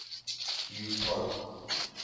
hugh pope